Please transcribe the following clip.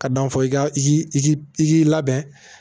Ka dɔn fɔ i ka ji i k'i labɛn